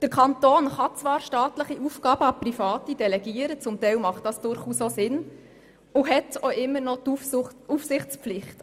Der Kanton kann zwar staatliche Aufgaben an Private delegieren – was zu Teil durchaus Sinn macht – und hat auch immer noch die Aufsichtspflicht.